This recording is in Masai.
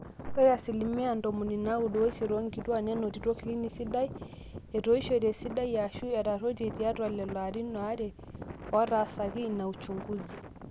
ore asilimia ntomoni naaudo oisiet oonkituaak nenotito clinic sidai etoishlte esidai aashu etaruetie tiatwa lelo arin aare ootaasaki in uchunguzi